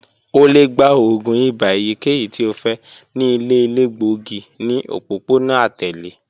O le gba oògùn ibà eyikeyi ti o fẹ ni ile elegbogi ni opopona atẹle